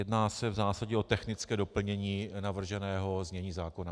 Jedná se v zásadě o technické doplnění navrženého znění zákona.